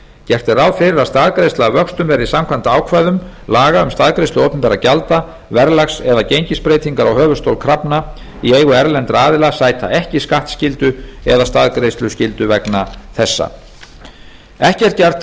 gert er ráð fyrir að staðgreiðsla af vöxtum verði samkvæmt ákvæðum laga um staðgreiðslu opinberra gjalda verðlags eða gengisbreytingar á höfuðstól krafna í eigu erlendra aðila sæta ekki skattskyldu eða staðgreiðsluskyldu vegna þessa ekki er gert